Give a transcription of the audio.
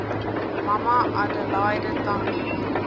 mama adelaide tambo